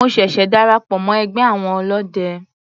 Mo ṣẹ̀ṣẹ̀ darapọ̀ mọ́ ẹgbẹ́ àwọn ọlọ́de.